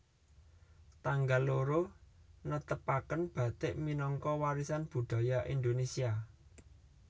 Tanggal loro netepaken bathik minangka warisan budaya Indonesia